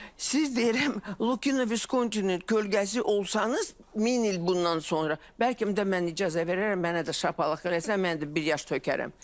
Siz deyirəm, Lukino Viskontinin kölgəsi olsanız min il bundan sonra, bəlkə mən icazə verərəm mənə də şapalaq eləsən, mən də bir yaş tökərəm.